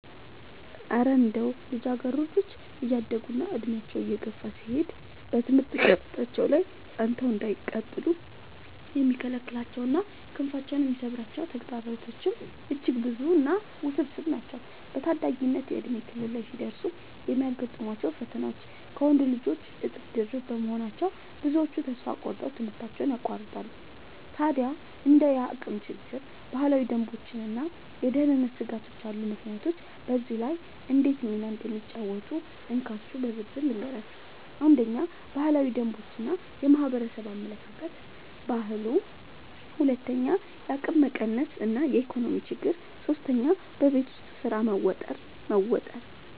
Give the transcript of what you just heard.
እረ እንደው ልጃገረዶች እያደጉና ዕድሜያቸው እየገፋ ሲሄድ በትምህርት ገበታቸው ላይ ጸንተው እንዳይቀጥሉ የሚከለክሏቸውና ክንፋቸውን የሚሰብሯቸው ተግዳሮቶችማ እጅግ ብዙና ውስብስብ ናቸው! በታዳጊነት የእድሜ ክልል ላይ ሲደርሱ የሚገጥሟቸው ፈተናዎች ከወንዶች ልጆች እጥፍ ድርብ በመሆናቸው፣ ብዙዎቹ ተስፋ ቆርጠው ትምህርታቸውን ያቋርጣሉ። ታዲያ እንደ የአቅም ችግር፣ ባህላዊ ደንቦችና የደህንነት ስጋቶች ያሉ ምክንያቶች በዚህ ላይ እንዴት ሚና እንደሚጫወቱ እንካችሁ በዝርዝር ልንገራችሁ፦ 1. ባህላዊ ደንቦች እና የማህበረሰብ አመለካከት (ባህሉ) 2. የአቅም ማነስ እና የኢኮኖሚ ችግር 3. በቤት ውስጥ ስራ መወጠር መወጠር